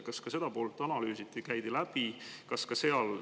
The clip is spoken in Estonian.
Kas ka seda poolt analüüsiti, käidi läbi?